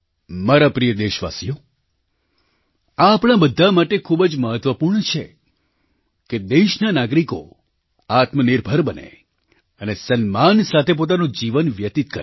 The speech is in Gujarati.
મારા પ્રિય દેશવાસીઓ આ આપણા બધા માટે ખૂબ જ મહત્ત્વપૂર્ણ છે કે દેશના નાગરિકો આત્મનિર્ભર બને અને સન્માન સાથે પોતાનું જીવન વ્યતિત કરે